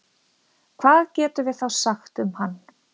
hvað getum við þá sagt um hann